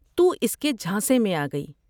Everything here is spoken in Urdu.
تو اس کے جھانسے میں آگئی ۔